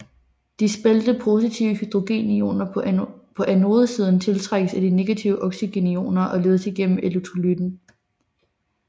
De spaltede positive hydrogenioner på anodesiden tiltrækkes af de negative oxygenioner og ledes igennem elektrolytten